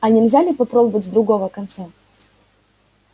а нельзя ли попробовать с другого конца